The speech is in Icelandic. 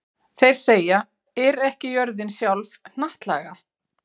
Þeir segja: Er ekki jörðin sjálf hnattlaga?